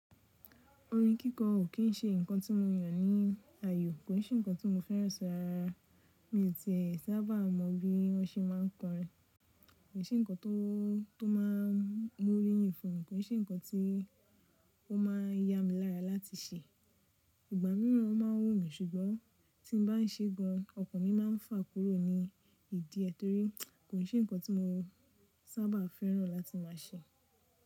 Orin kíkọ ò kín ṣe nǹkan tí mo yàn ní ayọ̀, kò ń se nǹkan tí mo fẹ́ràn sí rárárá. Mi tì e sába mọ̀ bí wọ́n ṣe máa ń kọrin. Kò se nǹkan tó máa mú orí yi fu mi, kò se nǹkan tí ó máa yá mi lára láti ṣe. Ìgbà míràn o máa ń wù mí ṣùgbọ́n tí mo bá ń ṣe gan, ọkàn mi máa ń fà kúrò ní ìdí ẹ torí kò sí nǹkan tí mo sábà fẹ́ràn láti máa ṣe.